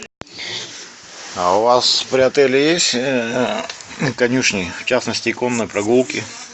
а у вас при отеле есть конюшни в частности конные прогулки